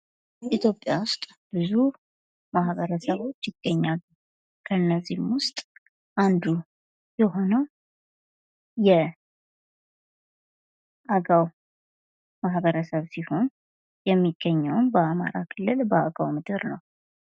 ኢትዮጵያ ዉስጥ ብዙ ማህበረሰቦች ይገኛሉ። ከነዚህም ዉስጥ አንዱ የሆነው የአገው ማህበረሰብ ሲሆን የሚገኘውም በአማራ ክልል በአገው ምድር ነው።